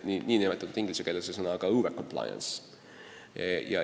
Inglise keeles öeldakse selle kohta overcompliance.